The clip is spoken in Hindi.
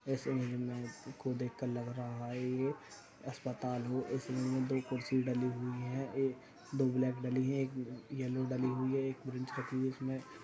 इस इमेज मे इसको देख कर लग रहा है ये अस्पताल हो। इस इमेज मे दो कुर्सी डली हुई हैं। एक दो ब्लैक डली एक येलो डली हुई है एक --